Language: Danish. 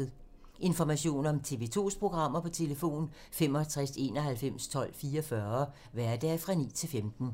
Information om TV 2's programmer: 65 91 12 44, hverdage 9-15.